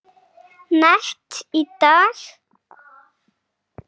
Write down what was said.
net í dag?